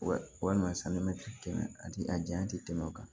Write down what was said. Wa walima san mɛ tɛmɛ a ti a janya tɛ tɛmɛ o kan